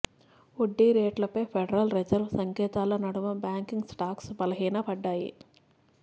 వడ్డీ రేట్లపై federal reserve సంకేతాల నడుమ బ్యాంకింగ్ స్టాక్స్ బలహీనపడ్డాయి